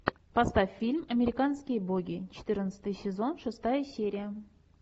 поставь фильм американские боги четырнадцатый сезон шестая серия